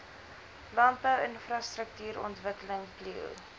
landbou infrastruktuurontwikkeling plio